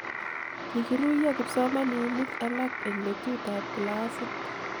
kikiruiyo kipsomaninik alak eng letutab Kila sit